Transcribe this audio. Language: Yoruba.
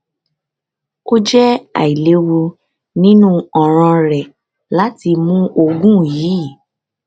um o jẹ ailewu ninu ọran rẹ lati mu oogun yii um